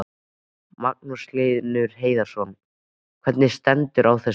Magnús Hlynur Hreiðarsson: Hvernig stendur á þessu?